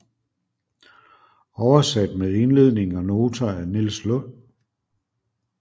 Oversat med indledning og noter af Niels Lund